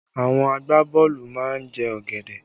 Àwọn agbaboolu má ń jẹ ọ̀gẹ̀dẹ̀